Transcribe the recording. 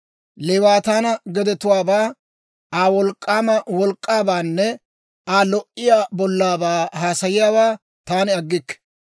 «Leewaataana gedetuwaabaa, Aa wolk'k'aama wolk'k'aabaanne Aa lo"iyaa bollaabaa haasayiyaawaa taani aggikke.